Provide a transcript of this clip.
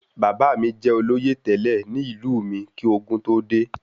Bàbá mí jẹ olóyè tẹlẹ ní ìlú mí kí ogún tó dé